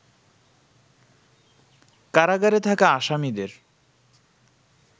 কারাগারে থাকা আসামিদের